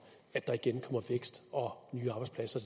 at der igen kommer vækst og nye arbejdspladser